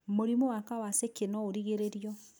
Mũrimũ wa kawasakĩ no ũrigĩrĩrio.